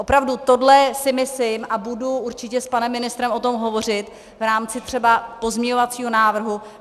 Opravdu tohle si myslím a budu určitě s panem ministrem o tom hovořit v rámci třeba pozměňovacího návrhu.